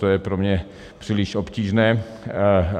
To je pro mě příliš obtížné.